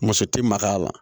Muso ti maka a la